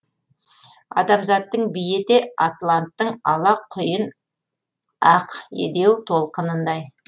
адамзаттың биі де атланттың ала құйын ақедеу толқынындай